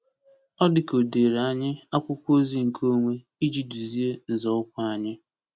Ọ dị ka o dere anyị akwụkwọ ozi nkeonwe iji duzie nzọụkwụ anyị.